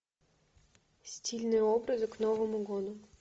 стильные образы к новому году